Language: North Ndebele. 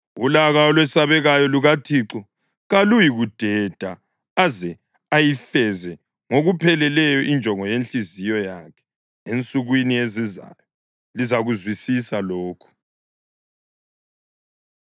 Ulaka olwesabekayo lukaThixo kaluyikudeda aze ayifeze ngokupheleleyo injongo yenhliziyo yakhe. Ensukwini ezizayo lizakuzwisisa lokhu.